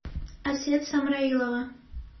асет самраилова